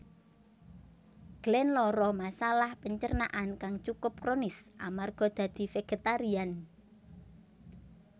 Glenn lara masalah pencernaan kang cukup kronis amarga dadi vegetarian